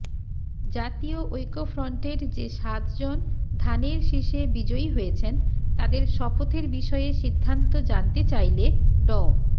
জাতীয় ঐক্যফ্রন্টের যে সাতজন ধানের শীষে বিজয়ী হয়েছেন তাঁদের শপথের বিষয়ে সিদ্ধান্ত জানতে চাইলে ড